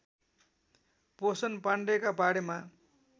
पोषण पाण्डेका बारेमा